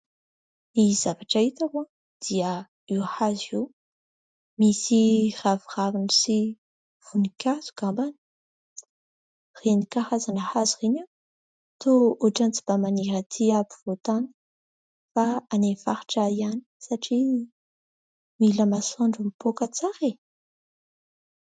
Ny zavatra hitako dia io hazo io misy raviraviny sy voninkazo angambany. Ireny karazana hazo ireny toa ohatrany tsy mba maniry aty ampovoan-tany fa any amin'ny faritra ihany satria mila masoandro mipoaka tsara e !